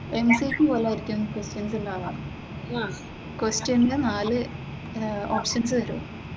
Entrance പോലെ questions ഉണ്ടാവുക, ക്വെസ്സ്റ്റിയൻല് നാല് ഓപ്ഷൻസ് കിട്ടും.